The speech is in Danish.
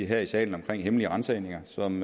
her i salen om hemmelige ransagninger som